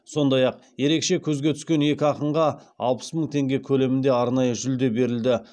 сондай ақ ерекше көзге түскен екі ақынға алпыс мың теңге көлемінде арнайы жүлде берілді